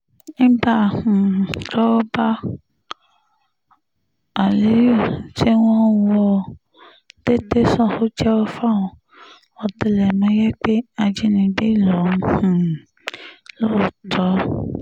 nígbà um tọ́wọ́ bá aliyu tí wọ́n wò ó dé tẹ̀sán ò jẹ́wọ́ fáwọn ọ̀tẹlẹ̀múyẹ́ pé ajínigbé lòun um lóòótọ́